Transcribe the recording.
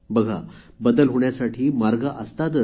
बघा बदल होण्यासाठी मार्ग असतातच